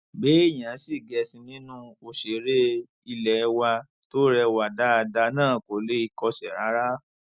béèyàn sì gẹṣin nínú òṣèré ilé wa tó rẹwà dáadáa náà kò lè kọsẹ rárá